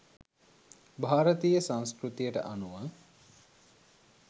භාරතීය සංස්කෘතියට අනුව